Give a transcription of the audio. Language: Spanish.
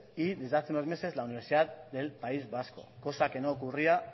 y desde hace unos meses la universidad del país vasco cosa que no ocurría